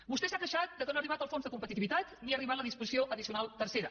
vostè s’ha queixat que no ha arribat el fons de competitivitat ni ha arribat la disposició addicional tercera